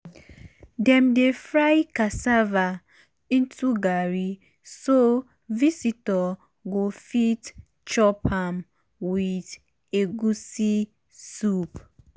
dem dey fry cassava into garri so visitor go fit chop am with egusi soup.